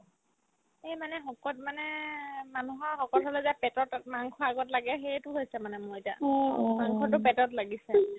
এইমানে শকত মানে মানুহৰ শকত হ'লে যে পেটত অত মাংস আগত লাগে সেইটো হৈছে মানে মোৰ এতিয়া মাংসতো পেটত লাগিছে